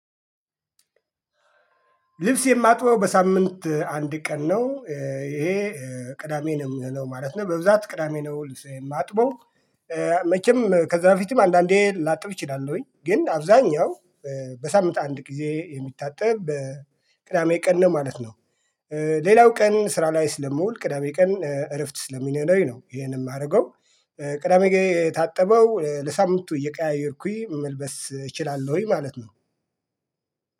ልብስ የማጥበው በሳምንት አንድ ቀን ነው። ይሄ ቅዳሜ ነው የሚሆነው ማለት ነው በብዛት ቅዳሜ ነው ልብስ የማጥበው። መቼም ከዛ በፊትም አንዳንዴ ላጥብ እችላለሁኝ ግን አብዛኛው በሳምንት አንድ ጊዜ የሚታጠብ በ ቅዳሜ ቀን ነው ማለት ነው። ሌላው ቀን ስራ ላይ ስለምውል ቅዳሜ ቀን እረፍት ስለሚኖረኝ ነው ይሄንን የማደርገው። ቅዳሜ ገ የታጠበው ለሳምንቱ እየቀያየርኩኝ መልበስ እችላለሁኝ ማለት ነው።